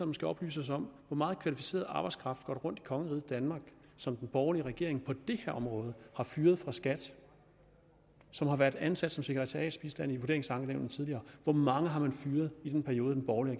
måske oplyse os om hvor meget kvalificeret arbejdskraft der går rundt i kongeriget danmark som den borgerlige regering på det her område har fyret fra skat og som har været ansat som sekretariatsbistand i vurderingsankenævnene tidligere hvor mange har man fyret i den periode den borgerlige